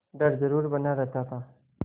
डर जरुर बना रहता था